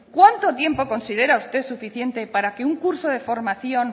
cuánto tiempo considera usted suficiente para que